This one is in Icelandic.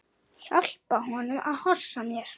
Hjálpa honum að hossa mér.